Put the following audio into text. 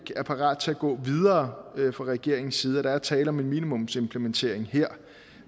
er parat til at gå videre fra regeringens side og der er tale om en minimumsimplementering her